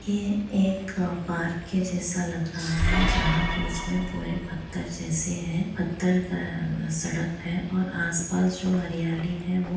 ये एक पार्क के जैसा लग रहा है जहाँ बीच में पूरे पत्थर जैसे है पत्थर का सड़क है और आसपास जो हरियाली है वो--